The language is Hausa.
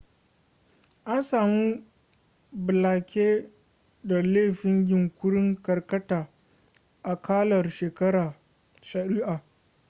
an samu blake da laifin yunkurin karkata akalar shari'ah